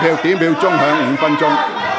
表決鐘會響5分鐘。